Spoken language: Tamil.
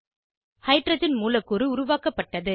ஹைட்ரஜன் மூலக்கூறு உருவாக்கப்பட்டது